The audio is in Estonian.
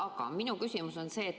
Aga minu küsimus on see.